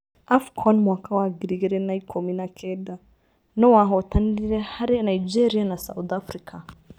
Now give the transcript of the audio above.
AFCON Mwaka wa ngiri igĩrĩ na ikũmi na kenda; nũ wahotanire karĩ Nigeria na South Africa